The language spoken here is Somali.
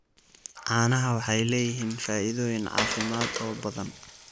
Caanaha waxay leeyihiin faa'iidooyin caafimaad oo badan.